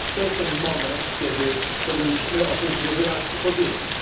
To jest ten moment, kiedy powinniśmy o tym sobie wyraźnie powiedzieć.